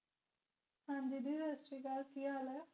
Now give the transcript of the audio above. ਹਾਂ ਦੀਦੀ ਸਾਸਰੀਕਾਲ ਕਿ ਹਾਲ ਇਹ